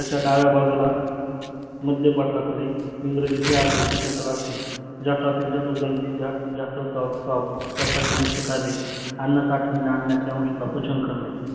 जठरच्या डाव्या बाजुला मध्यापटलाखाली एंग्रजी च्या खालचे जठर असते जठरच्या जठार गठीला जास्त स्वराव पावतो. जठरचे मुखकार्य अन्न साठवून अन्नच्या अनस्वाला पचन करणे